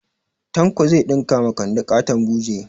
Tanko zai ɗinka ma kande ƙaton buje